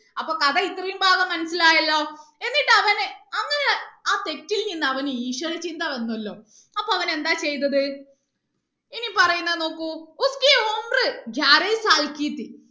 അപ്പൊ കഥ ഇത്രയും ഭാഗം മനസ്സിൽ ആയല്ലോ എന്നിട്ട് അവന് അങ്ങനെ ആ തെറ്റിൽ നിന്ന് അവന് ഈശ്വര ചിന്ത വന്നു അല്ലോ അപ്പൊ അവൻ എന്താ ചെയ്തത് ഇനി പറയുന്നത് നോക്കൂ